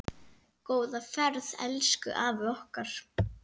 Góða ferð elsku afi okkar.